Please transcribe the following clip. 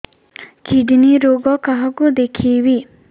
kidney ରୋଗ କାହାକୁ ଦେଖେଇବି